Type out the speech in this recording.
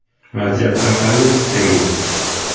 Vaziyatdan qanday chiqdingiz?